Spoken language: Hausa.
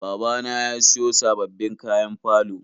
Babana ya siyo sababbin kayan falo.